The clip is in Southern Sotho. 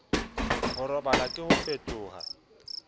ho robala ke ho fetoha